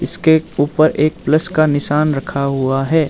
इसके ऊपर एक प्लस का निशान रखा हुआ है।